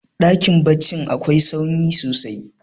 dakin baccin akwai sanyi sosai